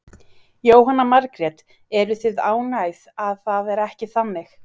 Jóhanna Margrét: Eruð þið ánægðar að það er ekki þannig?